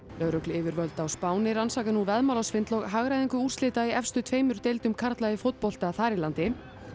lögregluyfirvöld á Spáni rannsaka nú veðmálasvindl og hagræðingu úrslita í efstu tveimur deildum karla í fótbolta þar í landi